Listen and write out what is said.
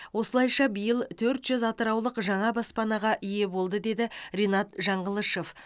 осылайша биыл төрт жүз атыраулық жаңа баспанаға ие болды деді ринат жаңғылышов